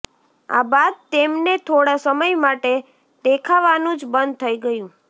આ બાદ તેમને થોડા સમય માટે દેખાવાનું જ બંધ થઈ ગયું